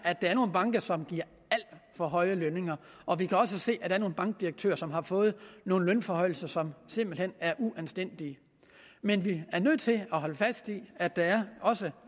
at der er nogle banker som giver alt for høje lønninger og vi kan også se at der er nogle bankdirektører som har fået nogle lønforhøjelser som simpelt hen er uanstændige men vi er nødt til at holde fast i at der også